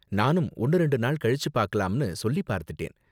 நானும் ஒன்னு ரெண்டு நாள் கழிச்சு பாக்கலாம்னு சொல்லி பார்த்துட்டேன்